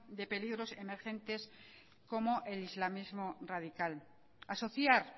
de peligros emergentes como el islamismo radical asociar